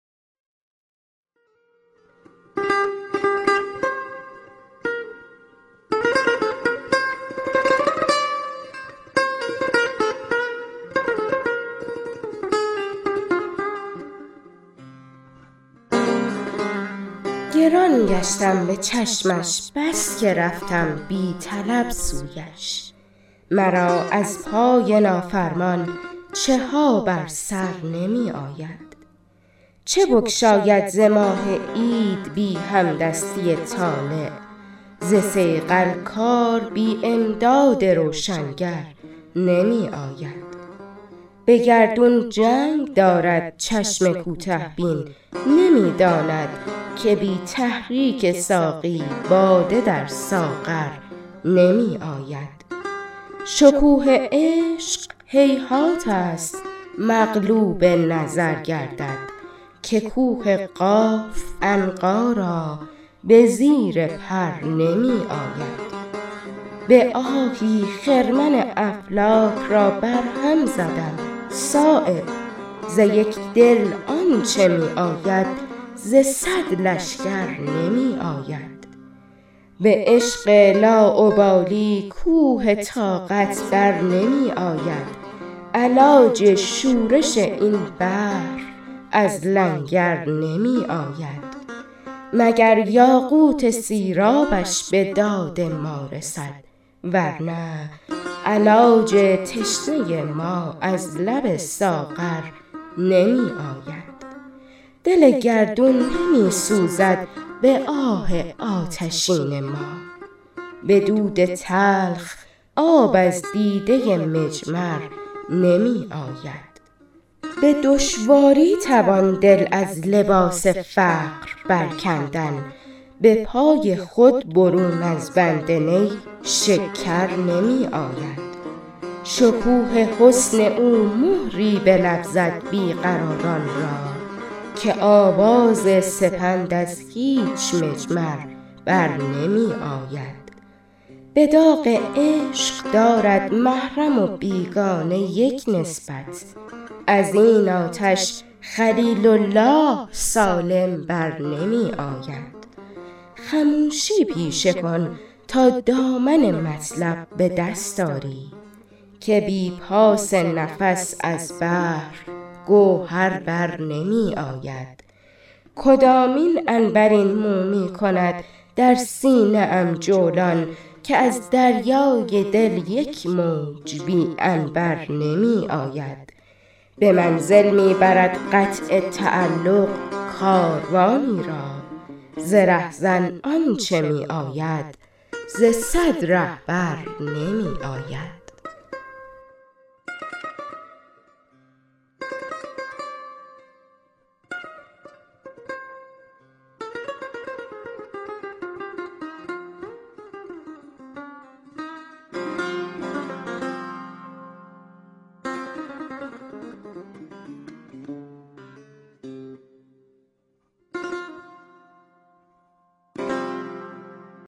گران گشتم به چشمش بس که رفتم بی طلب سویش مرا از پای نافرمان چه ها بر سر نمی آید چه بگشاید ز ماه عید بی همدستی طالع ز صیقل کار بی امداد روشنگر نمی آید به گردون جنگ دارد چشم کوته بین نمی داند که بی تحریک ساقی باده در ساغر نمی آید شکوه عشق هیهات است مغلوب نظر گردد که کوه قاف عنقا را به زیر پر نمی آید به آهی خرمن افلاک را بر هم زدم صایب ز یک دل آنچه می آید ز صد لشکر نمی آید به عشق لاابالی کوه طاقت برنمی آید علاج شورش این بحر از لنگر نمی آید مگر یاقوت سیرابش به داد ما رسد ورنه علاج تشنه ما از لب ساغر نمی آید دل گردون نمی سوزد به آه آتشین ما به دود تلخ آب از دیده مجمر نمی آید به دشواری توان دل از لباس فقر برکندن به پای خود برون از بند نی شکر نمی آید شکوه حسن او مهری به لب زد بی قراران را که آواز سپند از هیچ مجمر برنمی آید به داغ عشق دارد محرم و بیگانه یک نسبت ازین آتش خلیل الله سالم بر نمی آید خموشی پیشه کن تا دامن مطلب به دست آری که بی پاس نفس از بحر گوهر برنمی آید کدامین عنبرین مو می کند در سینه ام جولان که از دریای دل یک موج بی عنبر نمی آید به منزل می برد قطع تعلق کاروانی را ز رهزن آنچه می آید ز صد رهبر نمی آید